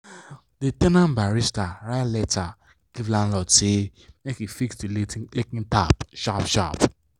the ten ant barista write letter give landlord say make e fix the leaking tap sharp sharp.